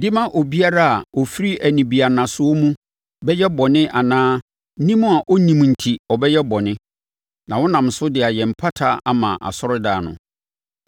de ma obiara a ɔfiri anibiannasoɔ mu bɛyɛ bɔne anaa nim a ɔnnim enti ɔbɛyɛ bɔne, na wo nam so de ayɛ mpata ama asɔredan no.